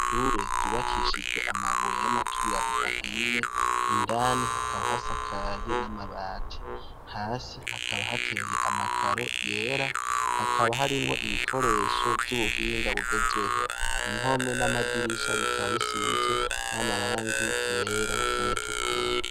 Jure kwibakishijwe amabuye y'amaturirano ahiye indani hakaba hasakaye n'amabati hasi hakaba hateye amakaro yera hakaba harimwo ibikoresho vy'ubuhinga bugezweho impome n'amadirisha bikaba bisizwe n'amarangi yera n'ayatukura.